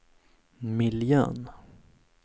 miljön